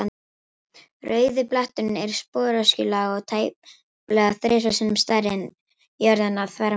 Rauði bletturinn er sporöskjulaga og tæplega þrisvar sinnum stærri en jörðin að þvermáli.